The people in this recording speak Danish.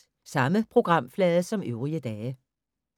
Samme programflade som øvrige dage